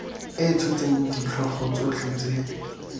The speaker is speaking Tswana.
e tshotseng ditlhogo tsotlhe tse